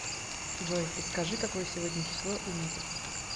джой подскажи какое сегодня число и месяц